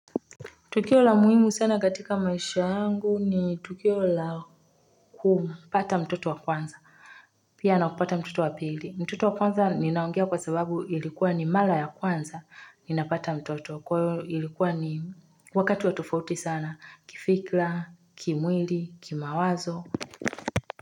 Tukio la muhimu sana katika maisha yangu ni tukio la kumpata mtoto wa kwanza Pia na kupata mtoto wa pili mtoto wa kwanza ninaongea kwa sababu ilikuwa ni mara ya kwanza ninapata mtoto kwa hiyo ilikuwa ni wakati wa tofauti sana kifikira, kimwili, kimawazo.